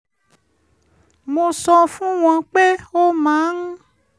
mo sọ fún wọn pé ó máa ń